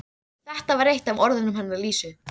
Þetta var eitt af orðunum hennar Lísu.